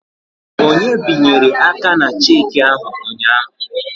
Onye binyere aka na cheki ahụ ụnyaahụ?